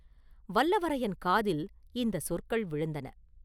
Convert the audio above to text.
வல்லவரையன் காதில் இந்த சொற்கள் விழுந்தன.